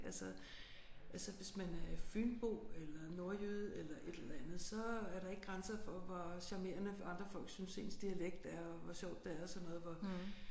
Altså altså hvis man er fynbo eller nordjyde eller et eller andet så er der ikke grænser for hvor charmerende andre folk synes ens dialekt er og hvor sjovt det er og sådan noget hvor